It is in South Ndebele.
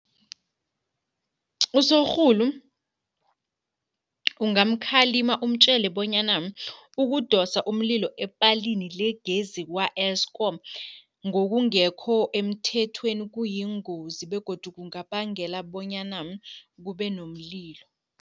Usorhulu ungamkhalima umtjele bonyana ukudosa umlilo epalini legezi kwa-Eskom ngokungekho emthethweni, kuyingozi begodu kungabangela bonyana kube nomlilo.